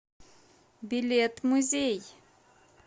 билет музей